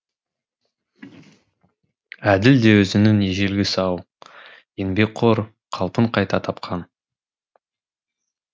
әділ де өзінің ежелгі сау еңбекқор қалпын кайта тапқан